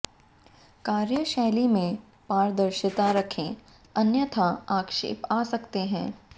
कार्यशैली में पारदर्शिता रखेें अन्यथा आक्षेप आ सकते हैं